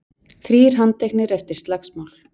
Þrír handteknir eftir slagsmál